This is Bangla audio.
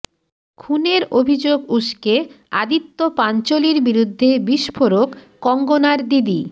খুনের অভিযোগ উস্কে আদিত্য পাঞ্চলির বিরুদ্ধে বিস্ফোরক কঙ্গনার দিদি